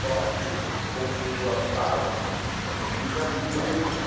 Só que, como foi duas balas, um um vizinho já viu o barulho, né?